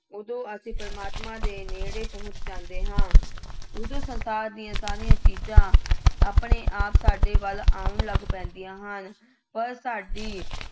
ਉਦੋਂ ਅਸੀਂ ਪ੍ਰਮਾਤਮਾ ਦੇ ਨੇੜੇ ਪਹੁੰਚ ਜਾਂਦੇ ਹਾਂ। ਉਦੋਂ ਸੰਤਾਪ ਦੀਆਂ ਸਾਰੀਆਂ ਚੀਜ਼ਾਂ ਆਪਣੇ ਆਪ ਸਾਡੇ ਵੱਲ ਆਉਣ ਲੱਗ ਪੈਂਦੀਆਂ ਹਨ ਪਰ ਸਾਡੀ